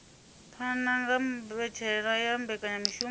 phana kha mbetshelwa ya mbekanyamishumo